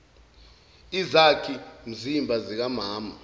izakhi mzimba zikamama